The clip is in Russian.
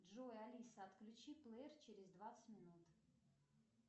джой алиса отключи плеер через двадцать минут